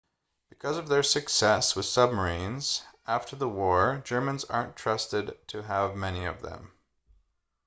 because of their success with submarines after the war germans aren't trusted to have many of them